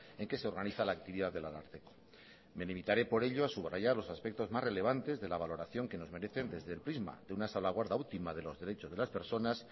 en que se organiza la actividad del ararteko me limitaré por ello a subrayar los aspectos más relevantes de la valoración que nos merecen desde el prisma de una salvaguarda última de los derechos de las personas